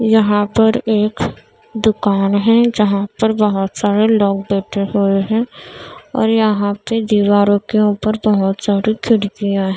यहां पर एक दुकान है जहां पर बहोत सारे लोग बैठे हुए हैं और यहां पे दीवारों के ऊपर बहोत सारी खिड़कियां है।